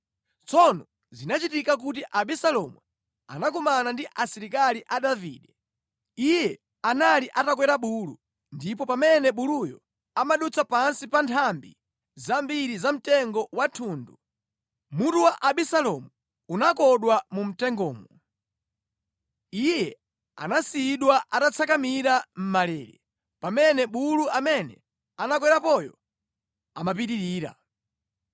Tsono zinachitika kuti Abisalomu anakumana ndi asilikali a Davide. Iye anali atakwera bulu ndipo pamene buluyo amadutsa pansi pa nthambi zambiri za mtengo wa thundu, mutu wa Abisalomu unakodwa mu mtengomo. Iye anasiyidwa atatsakamira mʼmalele, pamene bulu amene anakwerapoyo amapitirira.